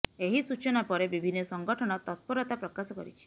ଏହି ସୂଚନା ପରେ ବିଭନ୍ନ ସଂଗଠନ ତତ୍ପରତା ପ୍ରକାଶ କରିଛି